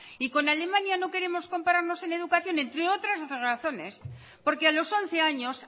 y con alemania no queremos compararnos en educación entre otras razones porque a los once años